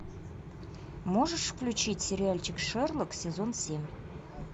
можешь включить сериальчик шерлок сезон семь